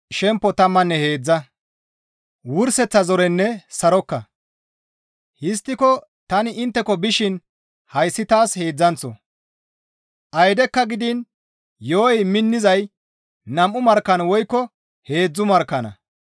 Histtiko tani intteko bishin hayssi taas heedzdzanththo; aydekka gidiin yo7oy minnizay nam7u markkan woykko heedzdzu markkanna.